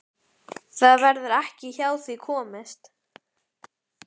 Það verður ekki hjá því komist.